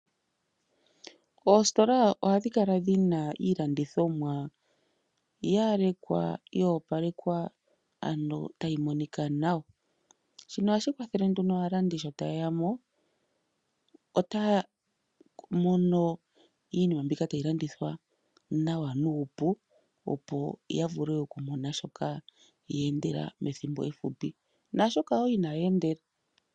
Oostola ohadhi kala dhina iilandithomwa yalekwa yoopalekwa ano tayi monika nawa. Shino ohashi kwathele nduno aalandi sho tayeya mo otaya mono iinima mbika tayilandithwa nawa nuupu opo yavule okumona shoka yeendela methimbo efupi naashoka woo inaya endela.